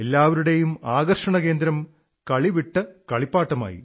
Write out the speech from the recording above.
എല്ലാവരുടം ആകർഷണകേന്ദ്രം കളിവിട്ട് കളിപ്പാട്ടമായി